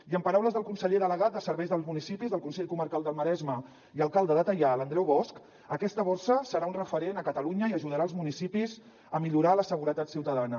i en paraules del conseller delegat de serveis dels municipis del consell comarcal del maresme i alcalde de teià l’andreu bosch aquesta borsa serà un referent a catalunya i ajudarà els municipis a millorar la seguretat ciutadana